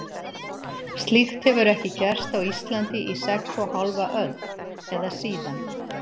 Slíkt hefur ekki gerst á Íslandi í sex og hálfa öld, eða síðan